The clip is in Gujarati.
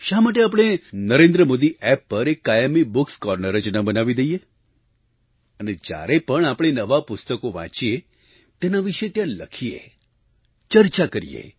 શા માટે આપણે NarendraModiApp પર એક કાયમી bookએસ કોર્નર જ ન બનાવી દઈએ અને જ્યારે પણ આપણે નવાં પુસ્તકો વાંચીએ તેના વિશે ત્યાં લખીએ ચર્ચા કરીએ